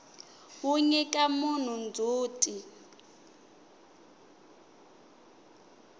wu nyika munhu ndzhuti